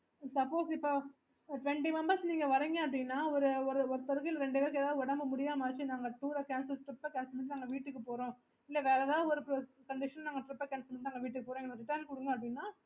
okay